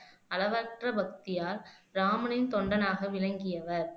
அளவற்ற பக்தியால் ராமனின் தொண்டனாக விளங்கியவர்